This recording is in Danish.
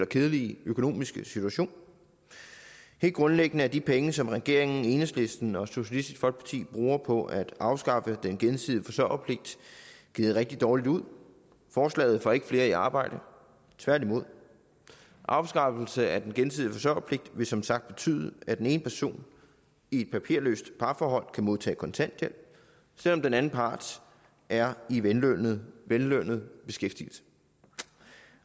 kedelige økonomiske situation helt grundlæggende er de penge som regeringen enhedslisten og socialistisk folkeparti bruger på at afskaffe den gensidige forsørgerpligt givet rigtig dårligt ud forslaget får ikke flere i arbejde tværtimod afskaffelse af den gensidige forsørgerpligt vil som sagt betyde at den ene person i et papirløst parforhold kan modtage kontanthjælp selv om den anden part er i vellønnet vellønnet beskæftigelse